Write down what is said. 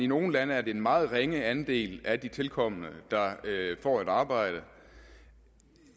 nogle lande er det en meget ringe andel af de tilkomne der får et arbejde